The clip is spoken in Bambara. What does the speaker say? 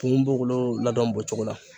Ponponpogolon ladon b'o cogo la .